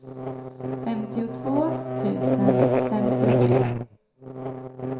femtiotvå tusen femtiotre